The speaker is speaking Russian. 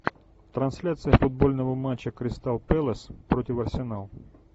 трансляция футбольного матча кристал пэлас против арсенал